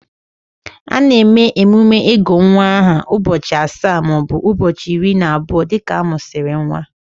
A na-eme emume ịgụ nwa aha ụbọchị asaa maọbụ ụbọchị iri na abụọ dịka a mụsịrị nwa